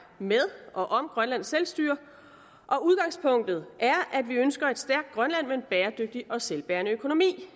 med og om grønlands selvstyre og udgangspunktet er at vi ønsker et stærkt grønland med en bæredygtig og selvbærende økonomi